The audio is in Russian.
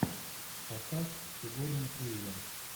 поставь сигурни уивер